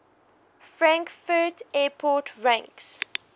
frankfurt airport ranks